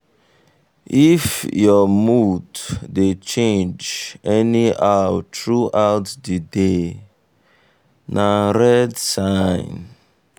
um if your mood dey change anyhow throughout the day um na red um sign.